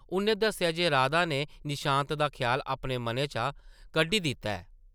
उʼन्नै दस्सेआ जे राधा नै निशांत दा ख्याल अपने मनै चा कड्ढी दित्ता ऐ ।